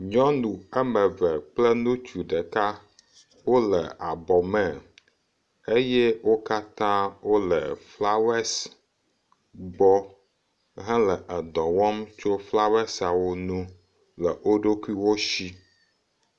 Nyɔnu ame eve kple ŋutsu ɖeka wole abɔ me eye wo katã wole flawesi gbɔ hele dɔ wɔm tso flawesiawo ŋu le woɖokuiwo si.